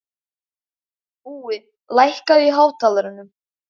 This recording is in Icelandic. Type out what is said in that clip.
Búi, lækkaðu í hátalaranum.